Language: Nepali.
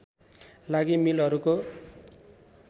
लागि मिलहरूको